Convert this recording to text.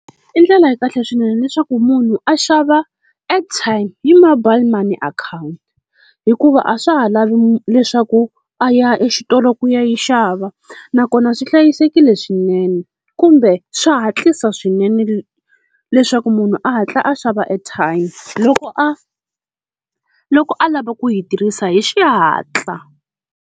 I ndlela ya kahle swinene leswaku munhu a xava airtime hi mobile money akhawunti, hikuva a swa ha lavi leswaku a ya exitolo ku ya yi xava, nakona swi hlayisekile swinene kumbe swa hatlisa swinene leswaku munhu a hatla a xava airtime, loko a loko a lava ku yi tirhisa hi xihatla.